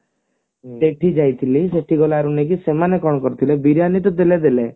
ସେଠି ଯାଇଥିଲି ସେଠି ଗଲାରୁ ନୁହେଁ କି ସେମାନେ କଣ କରିଥିଲେ ବିରିୟାନୀ ତ ଦେଲେ ଦେଲେ